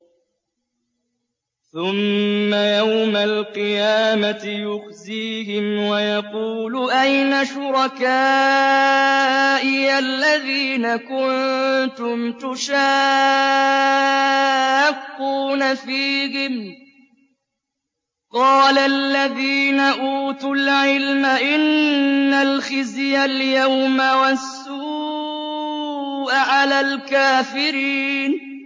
ثُمَّ يَوْمَ الْقِيَامَةِ يُخْزِيهِمْ وَيَقُولُ أَيْنَ شُرَكَائِيَ الَّذِينَ كُنتُمْ تُشَاقُّونَ فِيهِمْ ۚ قَالَ الَّذِينَ أُوتُوا الْعِلْمَ إِنَّ الْخِزْيَ الْيَوْمَ وَالسُّوءَ عَلَى الْكَافِرِينَ